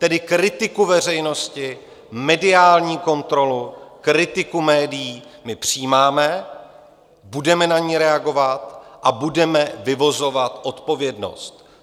Tedy kritiku veřejnosti, mediální kontrolu, kritiku médií my přijímáme, budeme na ni reagovat a budeme vyvozovat odpovědnost.